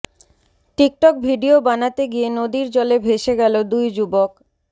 TikTok video বানাতে গিয়ে নদীর জলে ভেসে গেল দুই যুবক